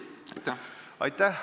Aitäh!